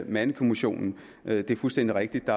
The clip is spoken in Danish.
mandekommissionen er det fuldstændig rigtigt